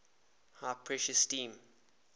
high pressure steam